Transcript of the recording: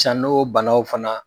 san n'o banaw fana